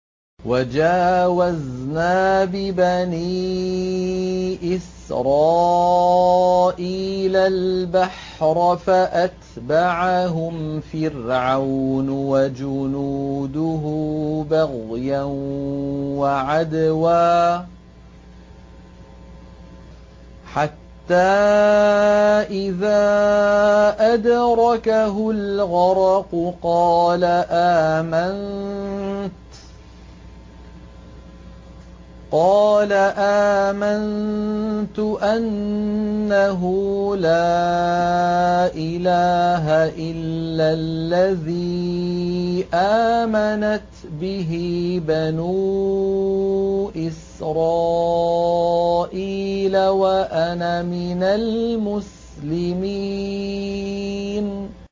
۞ وَجَاوَزْنَا بِبَنِي إِسْرَائِيلَ الْبَحْرَ فَأَتْبَعَهُمْ فِرْعَوْنُ وَجُنُودُهُ بَغْيًا وَعَدْوًا ۖ حَتَّىٰ إِذَا أَدْرَكَهُ الْغَرَقُ قَالَ آمَنتُ أَنَّهُ لَا إِلَٰهَ إِلَّا الَّذِي آمَنَتْ بِهِ بَنُو إِسْرَائِيلَ وَأَنَا مِنَ الْمُسْلِمِينَ